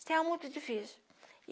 você é muito difícil.